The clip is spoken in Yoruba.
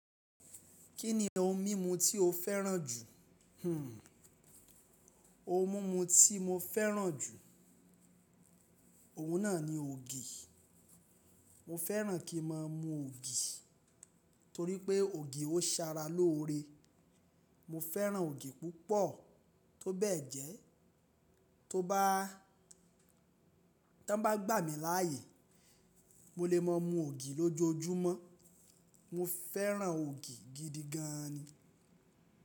Kí ni ohun mímu tí o féràn jù? Hmm ohun mímu tí mo féràn jù, òun náà ni ògì. Mo féràn kí n máa mu ògì torípé ògì ó sara lóore. Mo féràn ògì púpọ̀, tó bẹ́ẹ̀ jẹ tó bá, tó n bá gbà mí láàyè mo lè máa mu ògì lójojúmọ́. Mo féràn ògì gidi gan ni.